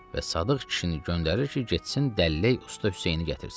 Və Sadıq kişini göndərir ki, getsin dəllək usta Hüseyni gətirsin.